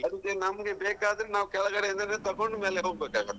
ಅದಕ್ಕೆ ನಮ್ಗೆ ಬೇಕಾದ್ರೆ ನಾವು ಕೆಳಗಡೇಯಿಂದಾನೆ ತಕೊಂಡ್ ಮೇಲೆ ಹೋಗ್ಬೇಕಾಗ್ತೆ.